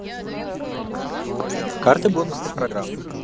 карты бонусной программы